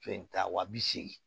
Fɛn ta wa bi segin